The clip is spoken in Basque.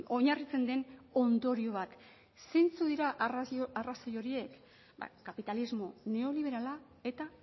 oinarritzen den ondorio bat zeintzuk dira arrazoi horiek kapitalismo neoliberala eta